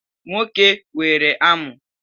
Nwoke nwere amu.